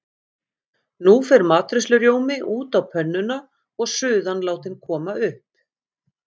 Nú fer matreiðslurjómi út á pönnuna og suðan látin koma upp.